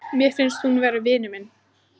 Mér finnst hún vera vinur minn.